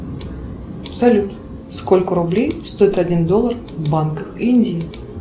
салют сколько рублей стоит один доллар в банках индии